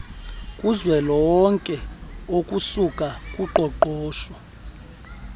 kuzwelonke okusuka kuqoqosho